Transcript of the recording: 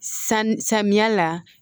San samiya la